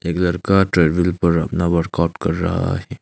यह लड़का ट्रेडमिल पर अपना वर्कआउट कर रहा है।